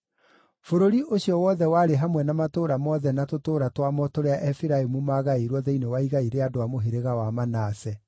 Bũrũri ũcio wothe warĩ hamwe na matũũra mothe na tũtũũra twamo tũrĩa Efiraimu maagaĩirwo thĩinĩ wa igai rĩa andũ a mũhĩrĩga wa Manase.